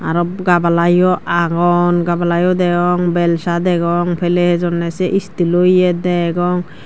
aro gabala yo agon gabala yo degong belsa degong piley hejonne se steelo ye degong.